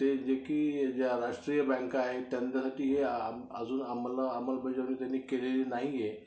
ते जे की ज्या राष्ट्रीय बँका आहेत त्यांचं अजून त्यांनी अंमलबजावणी त्यांनी केलेली नाहीए